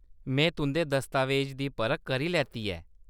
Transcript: में तुंʼदे दस्तावेज दी परख करी लैती ऐ।